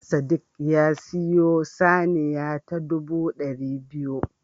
Sadiq ya siyo saniya ta ɗubu ɗari biyu